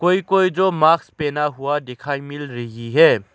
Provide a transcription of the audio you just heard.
कोई कोई जो मास्क पहना हुआ दिखाई मिल रही है।